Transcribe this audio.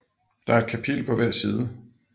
Der er et kapitel på hver side